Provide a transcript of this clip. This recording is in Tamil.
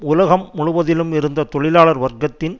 உலகம் முழுவதிலும் இருந்த தொழிலாளர் வர்க்கத்தின்